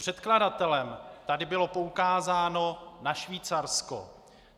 Předkladatelem tady bylo poukázáno na Švýcarsko.